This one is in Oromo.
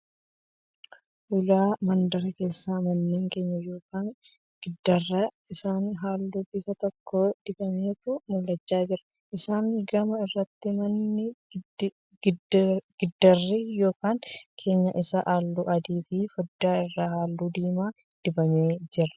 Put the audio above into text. Ulaa mandaraa keessa manneen keenyaan yookiin giddaarri isaanii halluu bifa tokko dibametu mul'achaa jira. Isaan gama irratti manni giddaarri yookiin keenyaan isaa halluu adii fi fooddaa isaa halluu diimaa dibame ni jira.